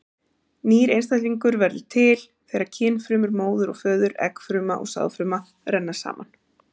Nýr einstaklingur verður til þegar kynfrumur móður og föður, eggfruma og sáðfruma, renna saman.